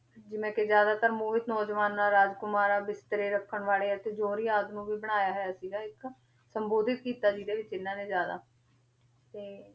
ਜਿਵੇਂ ਕਿ ਜ਼ਿਆਦਾਤਰ ਨੌਜਵਾਨਾਂ, ਰਾਜਕੁਮਾਰਾਂ, ਵਿਤਕਰੇ ਰੱਖਣ ਵਾਲੇ ਅਤੇ ਜੋਹਰੀ ਆਦਿ ਨੂੰ ਵੀ ਬਣਾਇਆ ਹੋਇਆ ਸੀਗਾ ਇੱਕ ਸੰਬੋਧਿਤ ਕੀਤਾ ਜਿਹਦੇ ਵਿੱਚ ਇਹਨਾਂ ਨੇ ਜ਼ਿਆਦਾ ਤੇ